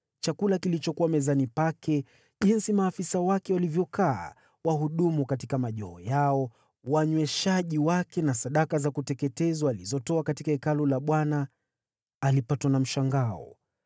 chakula kilichokuwa mezani pake, jinsi maafisa wake walivyokaa, wahudumu katika majoho yao, wanyweshaji wake na sadaka za kuteketezwa alizotoa katika hekalu la Bwana , alipatwa na mshangao.